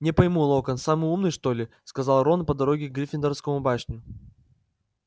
не пойму локонс самый умный что ли сказал рон по дороге в гриффиндорскую башню